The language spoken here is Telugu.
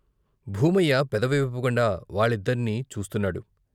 భూమయ్య పెదవి విప్పకుండా వాళ్ళద్దర్నీ చూస్తున్నాడు.